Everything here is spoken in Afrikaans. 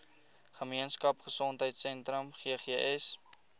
gemeenskap gesondheidsentrum ggs